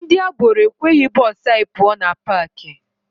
Ndị agboro ekweghị bụsụ anyị pụọ na paakị.